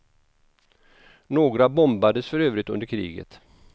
Några bombades för övrigt under kriget.